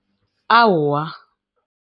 Awa.